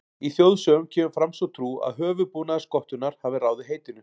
Í þjóðsögum kemur fram sú trú að höfuðbúnaður skottunnar hafi ráðið heitinu.